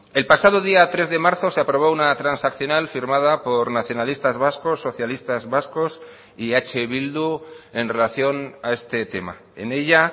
el pasado día tres de marzo se aprobó una transaccional firmada por nacionalistas vascos socialistas vascos y eh bildu en relación a este tema en ella